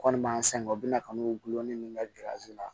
Kɔni m'an sɛgɛn kɔ u bɛna kanu gulonnen min bɛ la